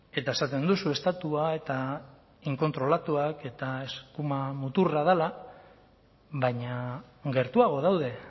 eta esaten duzu estatua eta inkontrolatuak eta eskuma muturra dela baina gertuago daude